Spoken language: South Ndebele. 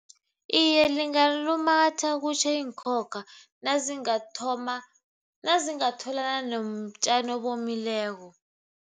Iye, lingalumatha kutjhe iinkhokha nazingathoma nazingatholana nobutjani obomileko.